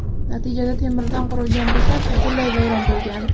Natijada temirdan qurilgan bekat butunlay vayron bo‘lgan.